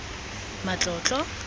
matlotlo